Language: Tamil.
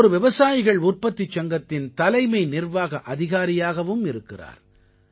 இவர் ஒரு விவசாயிகள் உற்பத்திச் சங்கத்தின் தலைமை நிர்வாக அதிகாரியாகவும் இருக்கிறார்